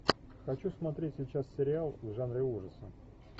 хочу смотреть сейчас сериал в жанре ужасы